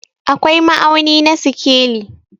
akwai ma'auni na sikeli